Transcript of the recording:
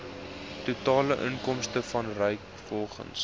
totale inkomste vanrvolgens